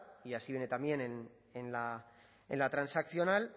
y así viene también en la transaccional